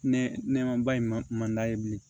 Ne nɛmaba in ma man d'a ye bilen